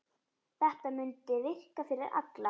Þetta mundi virka fyrir alla.